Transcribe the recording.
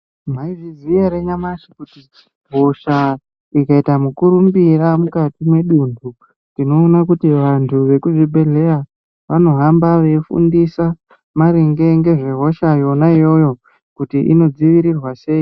Maizviziva here nyamashi kuti hosha ikaita mukurumbira mukati medundu tinoona kuti antu ekuzvibhedhlera anohamba eifundisa maringe nezvehosha yona iyoyo kuti inodzivirirwa sei.